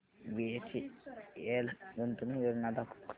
BHEL गुंतवणूक योजना दाखव